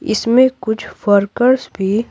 इसमें कुछ वर्कर्स भी --